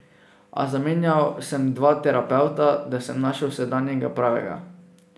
A zamenjal sem dva terapevta, da sem našel sedanjega, pravega.